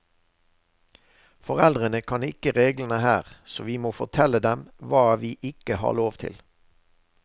Foreldrene kan ikke reglene her, så vi må fortelle dem hva vi ikke har lov til.